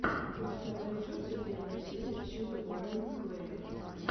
у тебя найдется первая серия чеда уайлд клэя